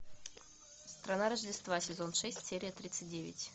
страна рождества сезон шесть серия тридцать девять